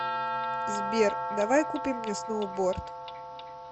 сбер давай купим мне сноуборд